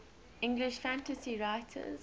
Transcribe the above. english fantasy writers